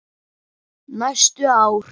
Næstu ár.